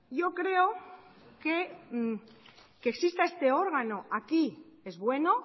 yo creo que exista este órgano aquí es bueno